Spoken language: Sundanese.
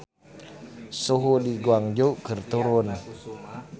Suhu di Guangzhou keur turun